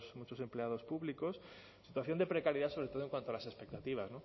muchos empleados públicos en situación de precariedad sobre todo en cuanto a las expectativas